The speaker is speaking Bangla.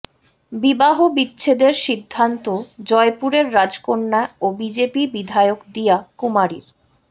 বিবাহবিচ্ছেদের সিদ্ধান্ত জয়পুরের রাজকন্যা ও বিজেপি বিধায়ক দিয়া কুমারীর